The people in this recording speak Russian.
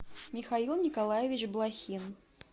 михаил николаевич блохин